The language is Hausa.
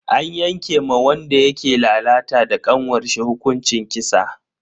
An yanke ma wanda yake lalata da kanwarsa hukuncin kisa.